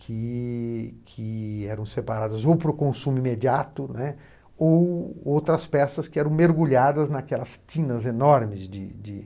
que que eram separadas ou para o consumo imediato, né, ou outras peças que eram mergulhadas naquelas tinas enormes de de